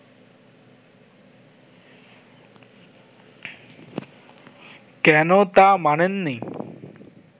কেন তা মানেন নি